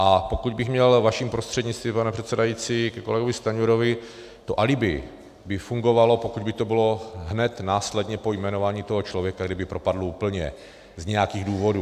A pokud bych měl vašim prostřednictvím, pane předsedající, ke kolegovi Stanjurovi, to alibi by fungovalo, pokud by to bylo hned následně po jmenování toho člověka, kdyby propadl úplně z nějakých důvodů.